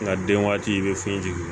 Nga den waati i be fini jigin